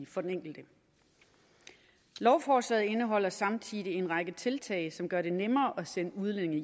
for den enkelte lovforslaget indeholder samtidig en række tiltag som gør det nemmere at sende udlændinge